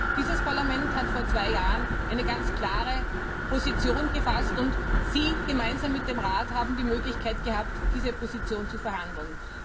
Dieses Parlament hat vor zwei Jahren eine ganz klare Position gefasst, und Sie haben gemeinsam mit dem Rat die Möglichkeit gehabt, diese Position zu verhandeln.